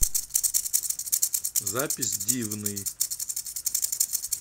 запись дивный